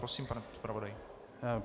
Prosím, pane zpravodaji.